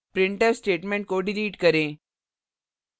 printf statement को delete करें